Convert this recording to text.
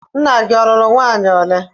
Nna gị ọ lụrụ nwaanyị ole?